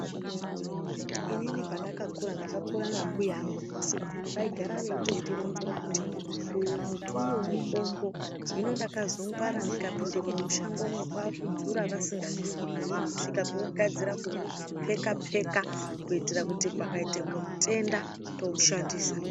Inini pandakakura ndakaakura nambuya angu nasekuru vaigara veitondironzera kuti uyo mbuti uyo mutombo hino ndakazongwara ndikapindemwo mushangomwo kwakudzura vasingazviziyi kusvikougadzira kuupeka peka kuitira pakaite mutenda toushandisa.